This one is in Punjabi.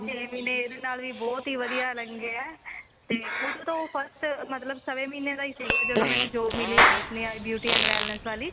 ਛੇ ਮਹੀਨੇ ਇਹਦੇ ਨਾਲ ਵੀ ਬਹੁਤ ਵਧੀਆ ਲੰਗੇ ਆ ਤੇ ਉਦੋਂ ਉਹ first ਮਤਲਬ ਸਵਾ ਮਹੀਨੇ ਦਾ ਸੀ ਜਦੋਂ ਮੈਂਨੁੰ job ਮਿਲੀ ਹੈ ਆਪਣੇ beauty ਵਾਲੀ